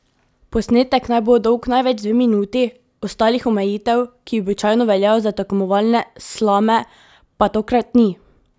Posnetek naj bo dolg največ dve minuti, ostalih omejitev, ki običajno veljajo za tekmovalne slame, pa tokrat ni!